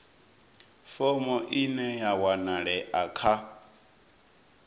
fomo ine ya wanalea kha